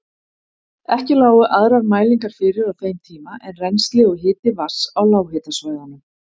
Ekki lágu aðrar mælingar fyrir á þeim tíma en rennsli og hiti vatns á lághitasvæðunum.